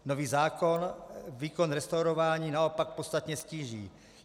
Nový zákon výkon restaurování naopak podstatně ztíží.